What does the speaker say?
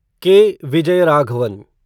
के. विजयराघवन